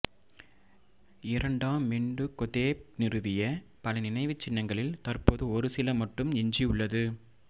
இரண்டாம் மெண்டுகொதேப் நிறுவிய பல நினைவுச் சின்னங்களில் தற்போது ஒருசில மட்டும் எஞ்சியுள்ளது